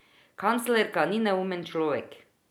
Kanclerka ni neumen človek.